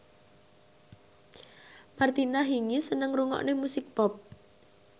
Martina Hingis seneng ngrungokne musik pop